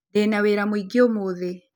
Ndĩna wĩra mũingĩ ũmũthĩ